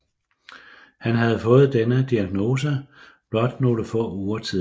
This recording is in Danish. Han havde fået denne diagnose blot nogle få uger tidligere